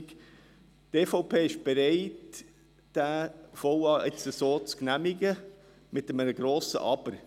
Die EVP ist bereit, diesen VA so zu genehmigen, mit einem grossen Aber.